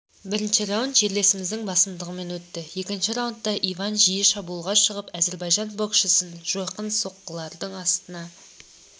бірінші раунд жерлесіміздің басымдығымен өтті екінші раундта иван жиі шабуылға шығып әзербайжан боксшысын жойқын соққылардың астына